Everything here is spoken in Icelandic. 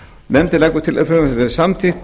nefndin leggur til að frumvarpið verði samþykkt